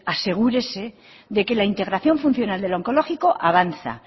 asegúrese de que la integración funcional del onkologiko avanza